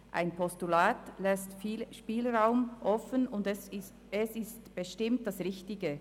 Ein Postulat lässt viel Spielraum offen, und es ist bestimmt das Richtige.